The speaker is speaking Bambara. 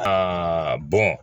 Aa bɔn